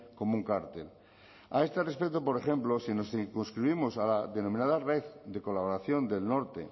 como un cártel a este respecto por ejemplo si nos circunscribimos a la denominada red de colaboración del norte